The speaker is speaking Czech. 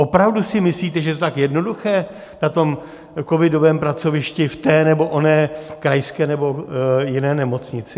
Opravdu si myslíte, že to je tak jednoduché na tom covidovém pracovišti v té nebo oné krajské nebo jiné nemocnici?